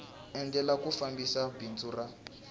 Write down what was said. endlela ku fambisa bindzu ra